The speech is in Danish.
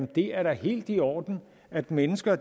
det er helt i orden at mennesker